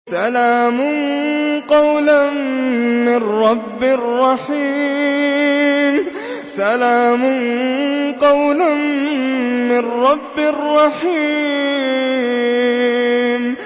سَلَامٌ قَوْلًا مِّن رَّبٍّ رَّحِيمٍ